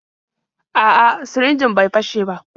A'a, sirinjin bai fashe ba.